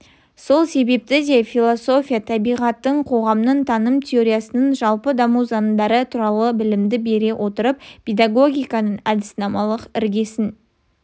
сол себепті де философия табиғаттың қоғамның таным теориясының жалпы даму заңдары туралы білімді бере отырып педагогиканың әдіснамалық іргесін